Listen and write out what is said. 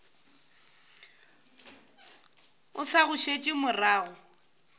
o sa go šetše morago